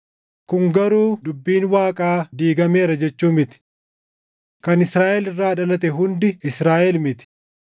Kun garuu dubbiin Waaqaa diigameera jechuu miti. Kan Israaʼel irraa dhalate hundi Israaʼel miti.